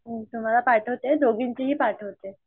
तुम्हाला पाठवते दोघींचेही पाठवते.